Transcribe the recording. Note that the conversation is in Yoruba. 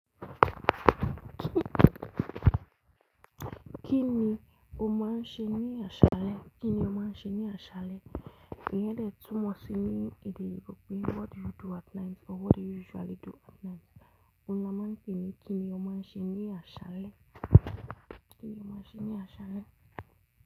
Kí ni o máa ń ṣe ní aṣálẹ́? Kí ni o máa ń ṣe ní aṣálẹ́? Iyen de túnmọ̀sí ní èdè oyinbo, "What do you do at night or what do you usually do at night?" Òun ni a máa ń pè ní kí ni o máa ń ṣe ní aṣálẹ́? Kí ni o máa ń ṣe ní aṣálẹ́?